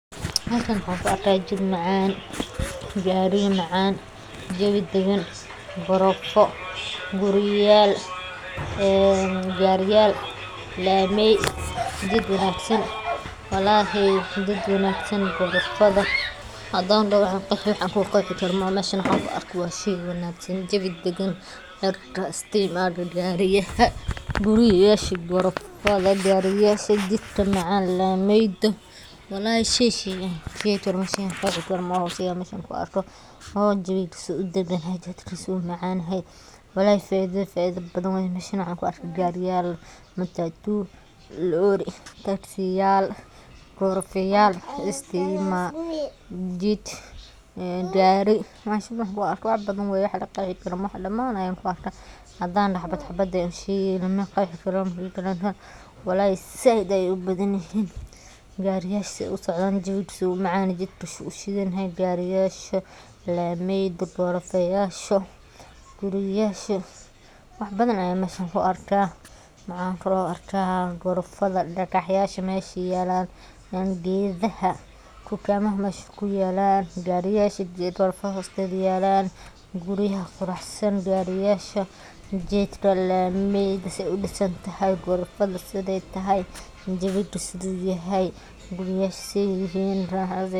Meshan waxan ku arka jid macan, gariya macan, jawi dagan gorofo guriyayal ee gariyal ee lamey jid wanagsan, walahi jid wanagsan garofada hadan doho wan qeexi wax laqexi karo maoho meshan waxan ku arko waa shey wanagsan jawi dagan dadka aya iska imadha gariyaha guriyasha gorofada jidka macan lameyga, walahi jawigisa wu macan yahay wax laqexi karo maaha mid daida badan waye, meshan waxan ku arka gariyal matatu taksiyal lori istima jid gari meshan wax badan waye wax laqexi karo maaha hadan dahno mid mid ayan ushegeyna walahi said ayey ubadan yahay, wax badan ayan mesha ku arka maxan kalo arka garofaada dagaxyasha mesha yalan heedaha tukamaha mesha kuyalan guriyaha qurax san gariyasha jidka lameyda se udisan tahay gorofada sithe tahay guriyasha sithe yihin raxadha.